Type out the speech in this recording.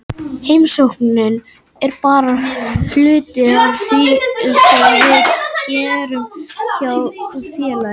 Heimsóknin er bara hluti af því sem við gerum hjá félaginu.